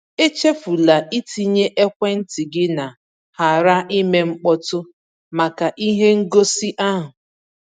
Echefula itinye ekwentị gị na ‘ghara ime mkpọtụ’ maka ihe ngosi ahụ.